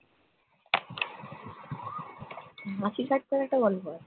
l